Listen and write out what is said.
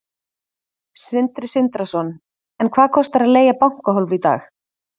Sindri Sindrason: En hvað kostar að leigja bankahólf í dag?